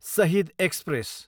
Shahid express